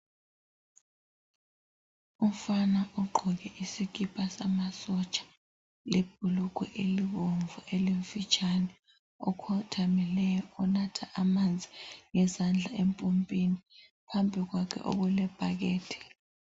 Umfana ogqoke isikipa samasotsha lebhulugwe elibomvu elimfitshane okhothamileyo onatha amanzi ngezandla empompini phambi kwakhe okulebhakede.